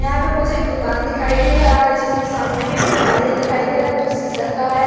यहां पे मुझे एक दुकान दिखाई दे रहा है जिसमें सामने में एक दरवाजा दिखाई दे रहा है जो शीशा का है।